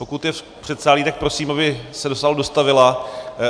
Pokud je v předsálí, tak prosím, aby se do sálu dostavila.